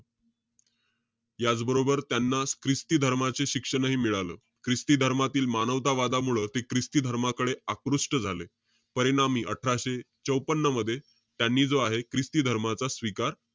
याचबरोबर, त्यांना ख्रिस्ती धर्माचे शिक्षणही मिळालं. ख्रिस्त्या धर्मातील मानवतावादामुळं ते ख्रिस्ती धर्माकडे आकृष्ट झाले. परिणामी, अठराशे चौपन्न मध्ये, त्यांनी जो आहे, ख्रिस्त्या धर्माचा स्वीकार,